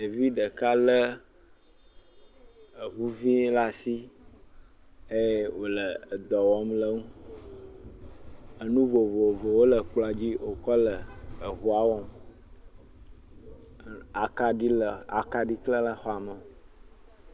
Ɖevi ɖeka lé eŋuvɛ̃ laa asi eye wòle edɔ wɔm le eŋu. Enu vovovow le ekplɔ̃dzi wòkɔ le eŋua wɔm. Aklaɖi le, akaɖi klẽ le xɔa me.